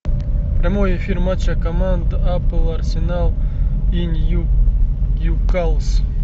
прямой эфир матча команд апл арсенал и ньюкасл